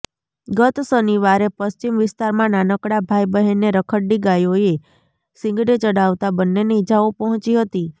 ગત શનિવારે પશ્વિમ વિસ્તારમાં નાનકડા ભાઇ બહેનને રખડતી ગાયોએ શીંગડે ચઢાવતાં બંનેને ઇજાઓ પહોંચી હતી